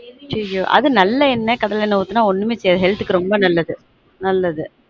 ஐய்யயொ அது நல்லெணெ கடலணென்ண ஊத்தினா ஒன்னும் செய்யாது health க்கு ரொம்ப நல்லது